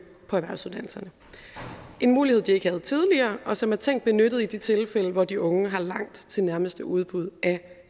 på erhvervsuddannelserne en mulighed de ikke havde tidligere og som er tænkt benyttet i de tilfælde hvor de unge har langt til nærmeste udbud af